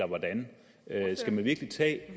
man virkelig